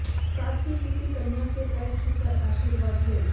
साथ ही किसी कन्या के पैर छूकर आशीर्वाद लें